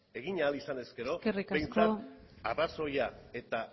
egin ahal izan ezkero behintzat arrazoia eta